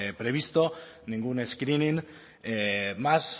previsto ningún screening más